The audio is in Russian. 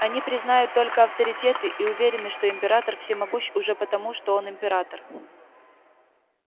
они признают только авторитеты и уверены что император всемогущ уже потому что он император